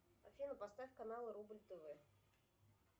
афина поставь канал рубль тв